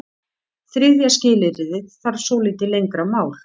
Þriðja skilyrðið þarf svolítið lengra mál.